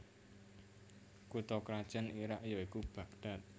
Kutha krajan Irak ya iku Bagdad